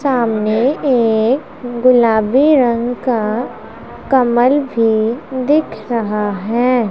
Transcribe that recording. सामने एक गुलाबी रंग का कमल भी दिख रहा है।